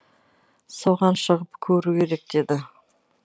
соған шығып көру керек деді